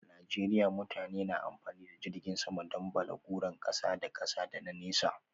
A Najeriya mutane na amfani da jirgin sama don balaguron kasa da kasa da na nesa.